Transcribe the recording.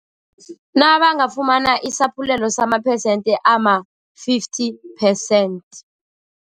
Nabangafumana isaphulelo samaphesenthe ama-fifty percent.